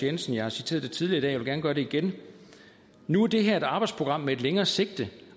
jensen jeg har citeret det tidligere jeg vil gerne gøre det igen nu er det her et arbejdsprogram med et længere sigte